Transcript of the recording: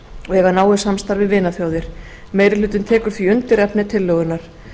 og eiga náið samstarf við vinaþjóðir meiri hlutinn tekur því undir efni tillögunnar